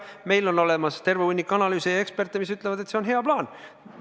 Meil on olemas terve hunnik analüüse ja eksperte, mis ütlevad, et see on hea plaan.